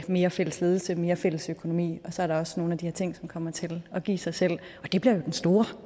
mere fælles ledelse mere fælles økonomi og så er der også nogle af de her ting som kommer til at give sig selv og det bliver jo den store